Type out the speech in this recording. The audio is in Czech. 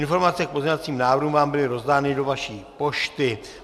Informace k pozměňovacím návrhům vám byly rozdány do vaší pošty.